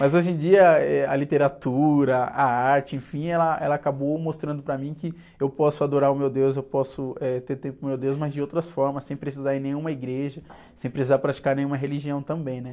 Mas hoje em dia, eh, a literatura, a arte, enfim, ela, ela acabou mostrando para mim que eu posso adorar o meu deus, eu posso, eh, ter tempo para o meu deus, mas de outras formas, sem precisar ir em nenhuma igreja, sem precisar praticar nenhuma religião também, né?